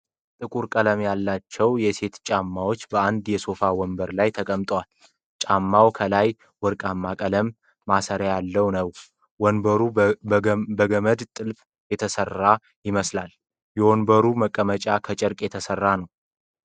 ጥቁር ቀለም ያለው የሴት ጫማ በአንድ የሶፋ ወንበር ላይ ተቀምጧል፤ ጫማው ከላይ ወርቃማ ቀለም ማሰርያ ያለው ነው። ወንበሩ በገመድ ጥልፍ የተሰራ ይመስላል፤ የወንበሩ መቀመጫ ከጨርቅ የተሰራ ነው።